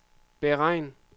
beregn